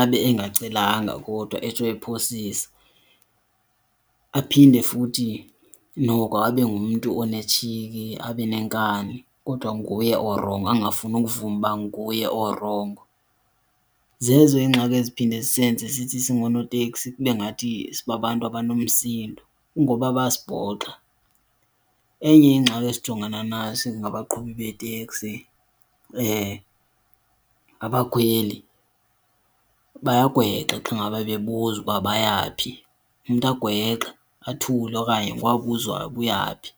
abe engacelanga kodwa etsho aphosisa. Aphinde futhi noko abe ngumntu onetshiki abe nenkani kodwa nguye orongo, angafuni ukuvuma ukuba nguye orongo. Zezo ingxaki eziphinde zisenze sithi singoonoteksi kube ngathi sibabantu abanomsindo kungoba bayasibhoxa. Enye ingxaki esijongene nayo ngabaqhubi beeteksi ngabakhweli, bayagwenxa xa ngaba bebuzwa uba baya phi. Umntu agwexe athule okanye ngoku abuzwayo uba uya phi.